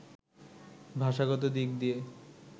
ভাষাগত দিক দিয়ে